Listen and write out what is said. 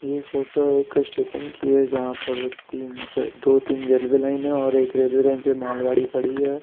ये फोटो एक स्टेशन की है जहां पर तीन दो-तीन रेलवे लाइन है और एक रेलवे लाइन पे मालगाड़ी खड़ी है।